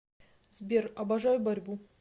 сбер обожаю борьбу